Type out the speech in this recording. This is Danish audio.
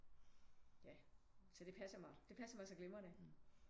Ja så det passer mig det passer mig så glimrende